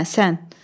Hə, sən.